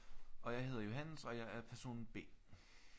Og jeg hedder Johannes og jeg er person B